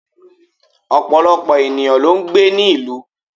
Òpọ̀lọpọ̀ ènìyàn ló n gbé ní ìlú